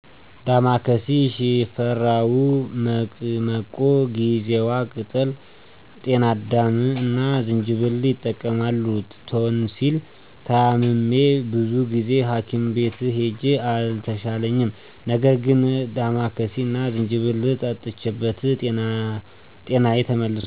ዳማከሲ፣ ሽፈራው፣ መቅመቆ፣ ጊዜዋ ቅጠል፣ ጤናዳም እና ዝንጅብል ይጠቀማሉ። ቶንሲል ታምሜ ብዙ ጊዜ ሀኪም ቤት ሂጄ አልተሻለኝም ነበር ነገር ግን ዳማከሲ እና ዝንጅብል ጠጥቼበት ጤናዬ ተመልሷል።